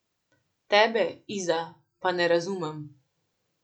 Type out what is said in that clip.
Tebe, Iza, pa ne razumem.